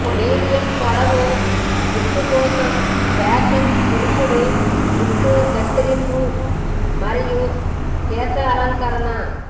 medium పొడవు జుట్టు కోసం ఫ్యాషన్ పురుషుడు జుట్టు కత్తిరింపులు మరియు కేశాలంకరణ